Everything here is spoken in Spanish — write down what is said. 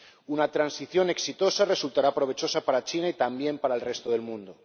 Una transición exitosa resultará provechosa para China y, también, para el resto del mundo.